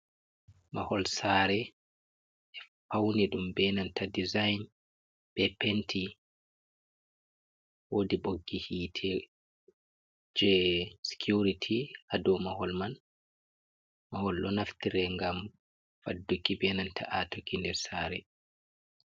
Mahol sare. Pauni dum be nanta ɗiza'in. Be penti. woɗi boggi hit je sikuriti ha ɗow mahol man. Mahol ɗo naftire ngam faɗɗuki, be nanta a tokki nɗer sare.